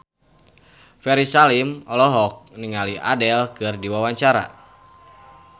Ferry Salim olohok ningali Adele keur diwawancara